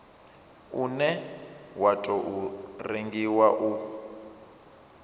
une wa tou rengiwa u